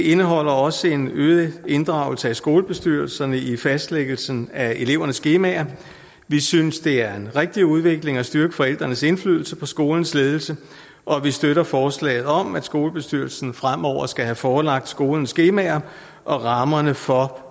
indeholder også en øget inddragelse af skolebestyrelserne i fastlæggelsen af elevernes skemaer vi synes det er en rigtig udvikling at styrke forældrenes indflydelse på skolens ledelse og vi støtter forslaget om at skolebestyrelsen fremover skal have forelagt skolens skemaer og rammerne for